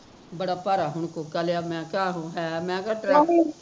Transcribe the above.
ਬੜਾ ਭਾਰਾ ਹੁਣ ਕੋਕਾ ਲਿਆ, ਮੈਂ ਕਿਹਾ ਆਹੋ ਹੈ ਮੈਂ ਕਿਹਾ ਚੱਲ